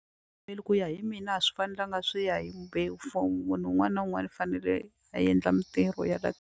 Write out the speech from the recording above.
Ku ya hi mina a swi fanelanga swi ya hi mbewu for munhu un'wana na un'wana u fanele a endla mitirho ya la.